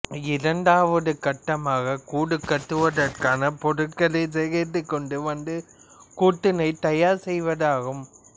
இரண்டாவது கட்டமாக கூடு கட்டுவதற்கான பொருட்களை சேகரித்து கொண்டு வந்து கூட்டினைத் தயார் செய்வதாகும்